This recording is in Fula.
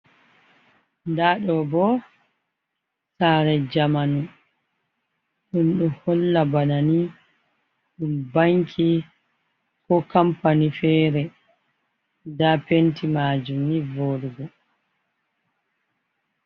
Nda ɗobo sare jamanu, ɗum ɗo holla bana ni ɗum banki ko kampani fere, nda penti majum ni voɗugo.